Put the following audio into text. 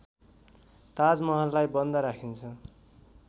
ताजमहललाई बन्द राखिन्छ।